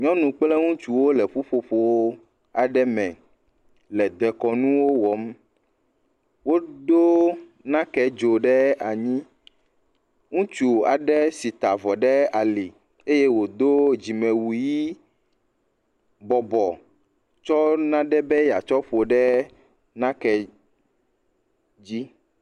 nyɔnu kple nutsuwo le ƒuƒoƒo aɖe me le dekɔnu nuwo wɔm wodó nake dzo ɖe anyi ŋutsu aɖe si ta vɔ ɖe ali ye wodó dzimewu yi bɔbɔ tsɔ naɖe be yatsɔ ƒo ɖe nake dzi